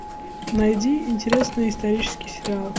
найди интересный исторический сериал